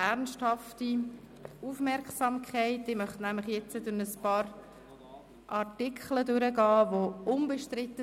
97 Ja und 16 Nein, das heisst, wir nehmen das Geschäft von der Traktandenliste.